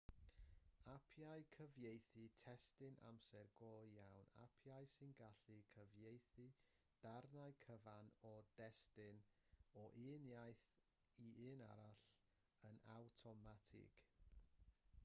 apiau cyfieithu testun amser go iawn apiau sy'n gallu cyfieithu darnau cyfan o destun o un iaith i un arall yn awtomatig